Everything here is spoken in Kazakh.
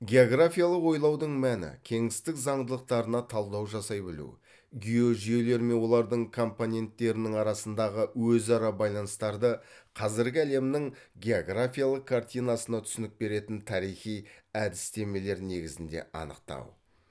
географиялық ойлаудың мәні кеңістік заңдылықтарына талдау жасай білу геожүйелер мен олардың компоненттерінің арасындағы өзара байланыстарды қазіргі әлемнің географиялық картинасына түсінік беретін тарихи әдістемелер негізінде анықтау